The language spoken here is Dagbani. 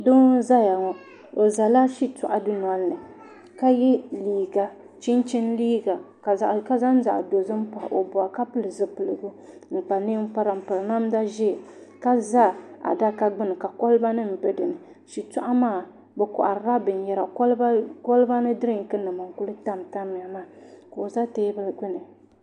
Doo n ʒɛya ŋo oʒɛla shitoɣ dundoli ni ka yɛ chinchin liiga ka zaŋ zaɣ dozim pa o boɣu ka pili zipiligu n kpa ninkpara n piri namda ʒiɛ ka za adaka gbuni ka kolba nim bɛ dinni shitoɣu maa ni bi koharila binyɛra kolba ni dirink nim n ku tamtamya maa ka o ʒɛ teebuli gbuni